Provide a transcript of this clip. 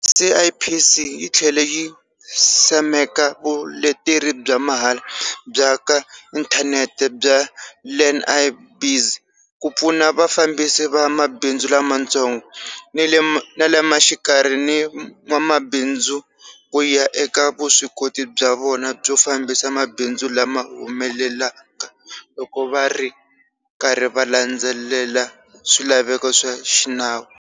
CIPC yi tlhele yi simeka vuleteri bya mahala bya ka inthanete bya Learn-i-Biz ku pfuna vafambisi va mabindzu lamatsongo, ni ma le xikarhi ni van'wamabindzu ku ya eka vuswikoti bya vona byo fambisa mabindzu lama humeleleka, loko va ri karhi va landzelela swilaveko swa xinawu.